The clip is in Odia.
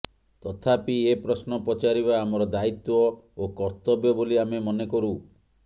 ତଥାପି ଏ ପ୍ରଶ୍ନ ପଚାରିବା ଆମର ଦାୟିତ୍ବ ଓ କର୍ତବ୍ୟ ବୋଲି ଆମେ ମନେକରୁ